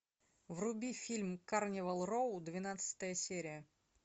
вруби фильм карнивал роу двенадцатая серия